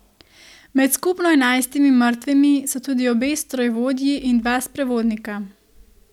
Med skupno enajstimi mrtvimi so tudi obe strojevodji in dva sprevodnika.